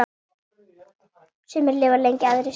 Sumir lifa lengi, aðrir stutt.